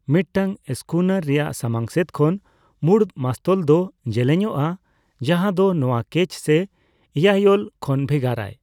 ᱢᱤᱫᱴᱟᱝ ᱥᱠᱩᱱᱟᱨ ᱨᱮᱭᱟᱜ ᱥᱟᱢᱟᱝᱥᱮᱫ ᱠᱷᱚᱱ ᱢᱩᱬᱩᱛ ᱢᱟᱥᱛᱚᱞ ᱫᱚ ᱡᱮᱞᱮᱧᱚᱜᱼᱟ, ᱡᱟᱦᱟᱸᱫᱚ ᱱᱚᱣᱟ ᱠᱮᱪ ᱥᱮ ᱤᱭᱟᱭᱳᱞ ᱠᱷᱚᱱ ᱵᱷᱮᱜᱟᱨᱟᱭ᱾